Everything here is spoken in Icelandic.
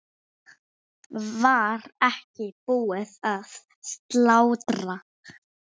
Var ekki búið að slátra?